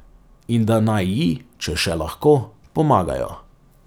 In da naj ji, če še lahko, pomagajo.